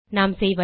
நாம் செய்வது